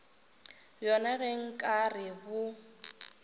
bjona ge nka re bo